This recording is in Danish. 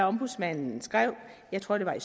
ombudsmanden skrev jeg tror det var i